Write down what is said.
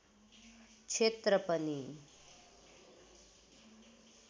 क्षेत्र पनि